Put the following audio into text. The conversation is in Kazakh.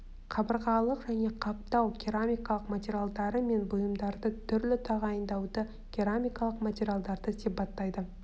қабырғалық және қаптау керамикалық материалдары мен бұйымдарды түрлі тағайындауды керамикалық материалдарды сипаттайды